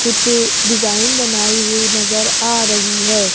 कुछ डिजाइन बनाई हुई नजर आ रही है।